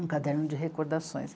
Um caderno de recordações.